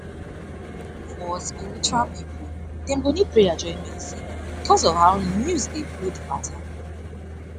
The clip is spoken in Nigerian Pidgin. sti test na um things were be say um we all suppose calm down um dey talk about openopen and with clear mind